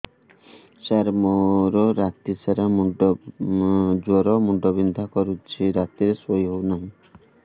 ସାର ମୋର ରାତି ସାରା ଜ୍ଵର ମୁଣ୍ଡ ବିନ୍ଧା କରୁଛି ରାତିରେ ଶୋଇ ହେଉ ନାହିଁ